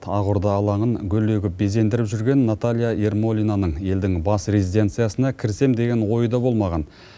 ақорда алаңын гүл егіп безендіріп жүрген наталья ермолинаның елдің бас резиденциясына кірсем деген ойы да болмаған